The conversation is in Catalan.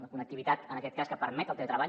la connectivitat en aquest cas que permet el teletreball